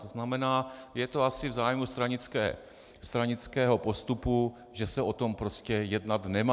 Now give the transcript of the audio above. To znamená, je to asi v zájmu stranického postupu, že se o tom prostě jednat nemá.